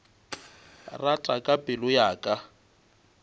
rata ka pelo ya ka